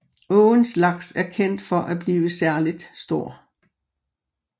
Åens laks er kendt for at blive særligt stor